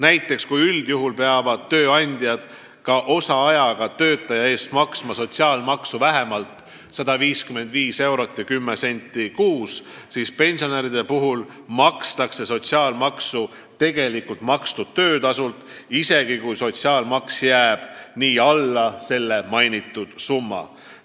Näiteks kui üldjuhul peavad tööandjad ka osaajaga töötaja eest maksma sotsiaalmaksu vähemalt 155 eurot ja 10 senti kuus, siis pensionäride puhul makstakse sotsiaalmaksu tegelikult makstud töötasult, isegi kui sotsiaalmaks jääb alla selle summa.